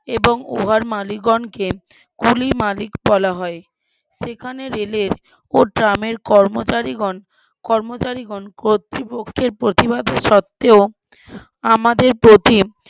এবং উহার মালিকগণকে কুলি মালিক বলা হয়, যেখানে রেলের ও ট্রামের কর্মচারিগণ কর্মচারিগণ কতৃপক্ষের প্রতিবাদ সত্বেও আমাদের প্রতি,